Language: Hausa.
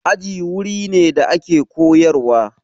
Aji wuri ne da ake koyarwa.